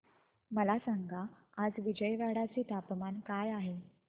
मला सांगा आज विजयवाडा चे तापमान काय आहे